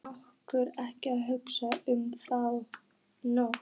En orka ekki að hugsa um þá nótt.